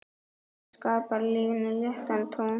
Það skapar lífinu léttan tón.